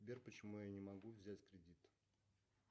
сбер почему я не могу взять кредит